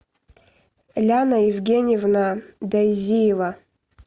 ляна евгеньевна дозиева